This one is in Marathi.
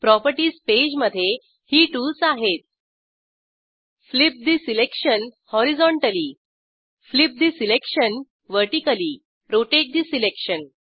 प्रॉपर्टीज पेजमधे ही टूल्स आहेत flip the selection horizontally flip the selection vertically rotate the selection